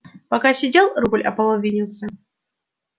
пока сидел рубль ополовинился